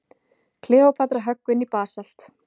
Kleópatra höggvin í basalt.